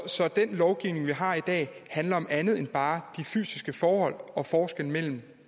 så den lovgivning vi har i dag handler om andet end bare de fysiske forhold og forskellen